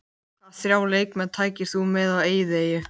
Hvaða þrjá leikmenn tækir þú með á eyðieyju?